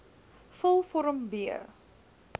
vul vorm b